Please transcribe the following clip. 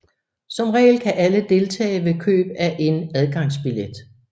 Som regel kan alle deltage ved køb af en adgangsbillet